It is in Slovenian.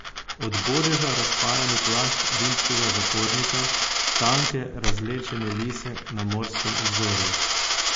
Od bodeža razparani plašč rimskega zapornika, tanke, razvlečene lise na morskem obzorju.